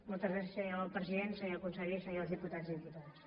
moltes gràcies senyor president senyor conseller senyors diputats i diputades